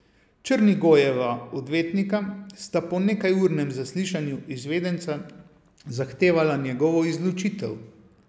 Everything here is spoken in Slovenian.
Črnigojeva odvetnika sta po nekajurnem zaslišanju izvedenca zahtevala njegovo izločitev.